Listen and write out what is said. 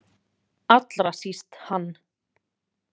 Allra síst hann.